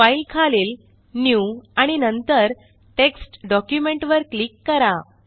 file खालील new आणि नंतर टेक्स्ट डॉक्युमेंट वर क्लिक करा